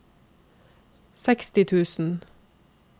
seksti tusen